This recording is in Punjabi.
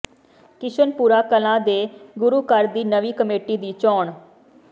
ਕਿਸ਼ਨਪੁਰਾ ਕਲਾਂ ਦੇ ਗੁਰੂ ਘਰ ਦੀ ਨਵੀਂ ਕਮੇਟੀ ਦੀ ਚੋਣ